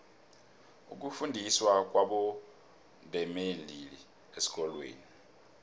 ukufundiswa kwabondebembili esikolweni